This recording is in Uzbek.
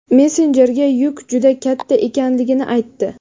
messenjerga yuk juda katta ekanligini aytdi.